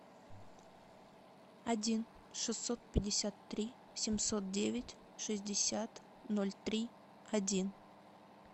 один шестьсот пятьдесят три семьсот девять шестьдесят ноль три один